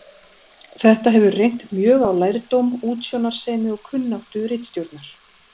Þetta hefur reynt mjög á lærdóm, útsjónarsemi og kunnáttu ritstjórnar.